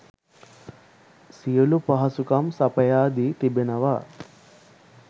සියලූ පහසුකම් සපයා දී තිඛෙනවා